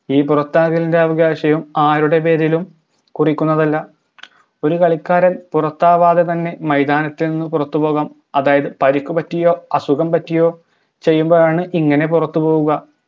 ഈ പുറത്താകലിൻറെ അവകാശവും ആരുടെ പേരിലും കുറിക്കുന്നതല്ല ഒരു കളിക്കാരൻ പുറത്താവാതെ തന്നെ മൈതാനത്തിൽ നിന്നും പുറത്തുപോകാം അതായത് പരിക്കു പറ്റിയോ അസുഖം പറ്റിയോ ചെയ്യുമ്പോഴാണ് ഇങ്ങനെ പുറത്തുപോകുക